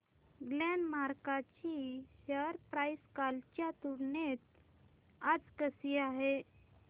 Glenmark ची share price कालच्या तुलनेत आज कशी आहे